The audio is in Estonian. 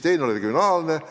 Teine on regionaalne lahendus.